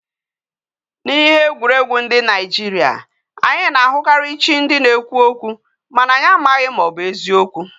Na ihe egwuregwu ndi Nigeria, anyi na ahukari chi ndi na ekwu okwu, mana anyi amaghi ma obu ezigbo